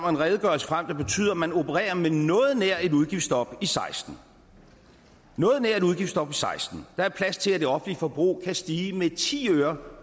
og en redegørelse frem der betyder at man opererer med noget nær et udgiftsstop i seksten noget nær et udgiftsstop og seksten der er plads til at det offentlige forbrug kan stige med ti øre